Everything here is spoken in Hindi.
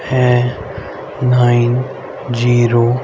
हैं नाइन जीरो --